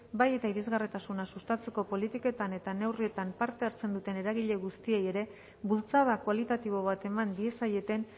bai eta irisgarritasuna sustatzeko politiketan eta neurrietan parte hartzen duten eragile guztiei ere bultzada kualitatibo bat eman diezaieten